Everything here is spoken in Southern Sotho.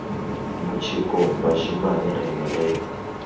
motjekong bashemane re ne re